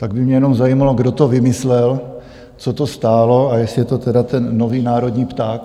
Tak by mě jenom zajímalo, kdo to vymyslel, co to stálo a jestli je to teda ten nový národní pták?